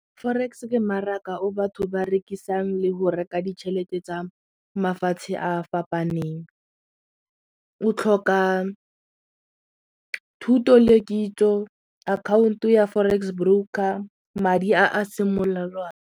Forex ke mmaraka o batho ba rekisang le go reka ditšhelete tsa mafatshe a fapaneng, o tlhoka thuto le kitso akhaonto ya forex broker madi a .